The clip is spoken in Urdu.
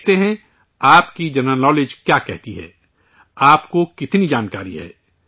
دیکھتے ہیں آپ کی جنرل نالیج کیا کہتی ہے آپ کو کتنی جانکاری ہے